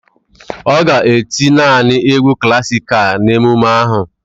Ọ ga-eti naanị egwu klasikal na emume ahụ.